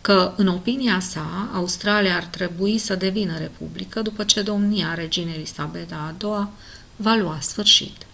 că în opinia sa australia ar trebui să devină republică după ce domnia reginei elisabeta a ii-a va lua sfârșit